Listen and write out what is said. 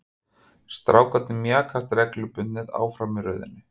Strákarnir mjakast reglubundið áfram í röðinni.